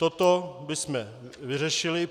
Toto bychom vyřešili.